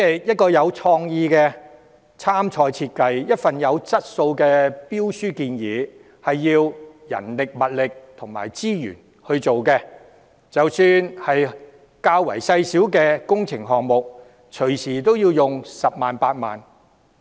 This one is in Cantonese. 一個具創意的參賽設計，一份有質素的標書，都要花人力、物力和資源去做，即使是較小型的工程項目，隨時亦要花上10萬元、8萬元。